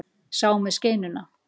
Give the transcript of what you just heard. Sá með skeinuna.